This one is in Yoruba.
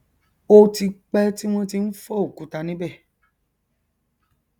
ó ti pẹ tí wọn ti n fọ òkúta níbẹ